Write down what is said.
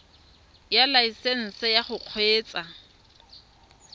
ya laesesnse ya go kgweetsa